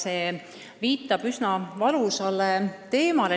See viitab teiselegi üsna valusale teemale.